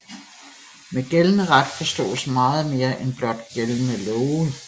Med gældende ret forstås meget mere end blot gældende love